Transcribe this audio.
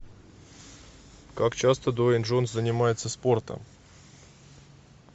как часто дуэйн джонсон занимается спортом